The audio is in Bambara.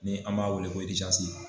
Ni an m'a weele ko